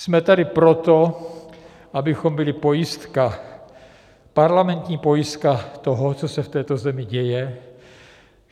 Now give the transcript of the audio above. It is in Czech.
Jsme tady proto, abychom byli pojistka, parlamentní pojistka toho, co se v této zemi děje.